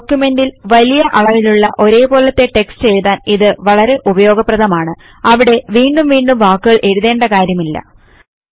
ഡോക്യുമെന്റിൽ വലിയ അളവിലുള്ള ഒരേപോലത്തെ ടെക്സ്റ്റ് എഴുതാൻ ഇത് വളരെ ഉപയോഗപ്രദമാണ് അവിടെ വീണ്ടും വീണ്ടും വാക്കുകൾ എഴുതേണ്ട കാര്യമില്ല